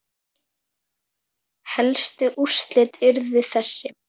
Helstu úrslit urðu þessi